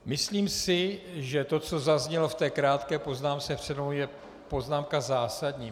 Myslím si, že to, co zaznělo v té krátké poznámce přede mnou, je poznámka zásadní.